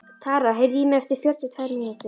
Tara, heyrðu í mér eftir fjörutíu og tvær mínútur.